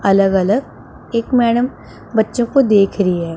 अलग अलग एक मैडम बच्चों को देख रही है।